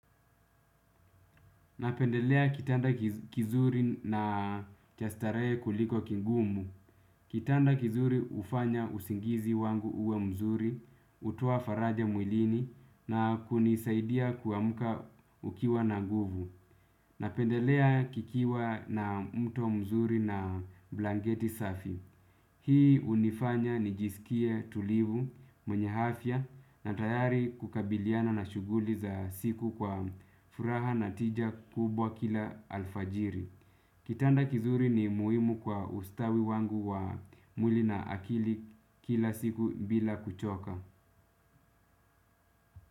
Napendelea kitanda kizuri na cha starehe kuliko kigumu. Kitanda kizuri ufanya usingizi wangu uwe mzuri, utuoa faraja mwilini na kunisaidia kuamka ukiwa na nguvu. Napendelea kikiwa na mto mzuri na blanketi safi. Hii unifanya ni jisikie tulivu mwenye afya na tayari kukabiliana na shuguli za siku kwa furaha na tija kubwa kila alfajiri. Kitanda kizuri ni muhimu kwa ustawi wangu wa mwili na akili kila siku bila kuchoka.